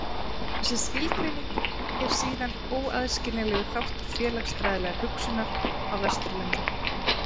Þessi skilgreining er síðan óaðskiljanlegur þáttur félagsfræðilegrar hugsunar á Vesturlöndum.